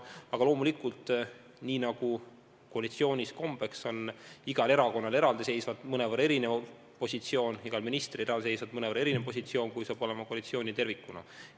Aga loomulikult, nagu koalitsioonis kombeks on, igal erakonnal on mõnevõrra erinev positsioon, igal ministril on mõnevõrra erinev positsioon, kui saab olema koalitsioonil tervikuna.